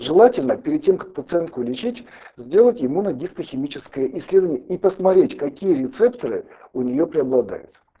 желательно перед тем как пациентку лечить сделать иммуногистохимическое исследование и посмотреть какие рецепторы у нее преобладают